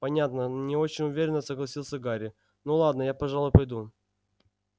понятно не очень уверенно согласился гарри ну ладно я пожалуй пойду